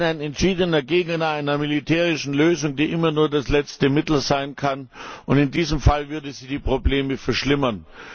Auch ich bin ein entschiedener Gegner einer militärischen Lösung, die immer nur das letzte Mittel sein kann. In diesem Fall würde sie die Probleme verschlimmern!